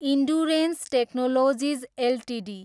endurance technologies Ltd